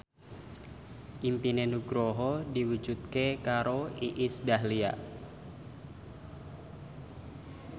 impine Nugroho diwujudke karo Iis Dahlia